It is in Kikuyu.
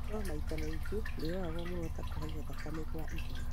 no maita maingĩ ndũroragwo mũno ta kũhaica thakame kwa igũrũ